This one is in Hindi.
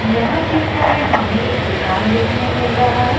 यहां चित्र में हमे एक दुकान देखने मिल रहा है।